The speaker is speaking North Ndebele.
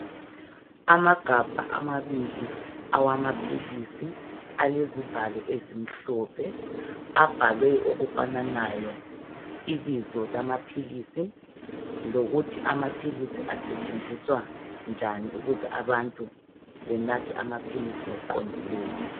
Amagabha amabili awamaphilisi alezivalo ezimhlophe abhalwe okufananayo ibizo lamaphilisi lokuthi amaphilisi asetshenziswa njani ukuze abantu bawanathe ngokuqondileyo.